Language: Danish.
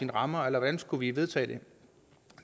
rammer eller hvordan skulle vi vedtage det